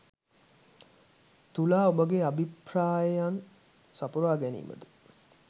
තුලා ඔබගේ අභිප්‍රායන් සපුරා ගැනීමට